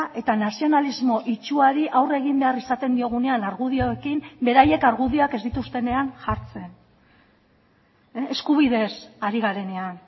eta nazionalismo itsuari aurre egin behar izaten diogunean argudioekin beraiek argudioak ez dituztenean jartzen eskubideez ari garenean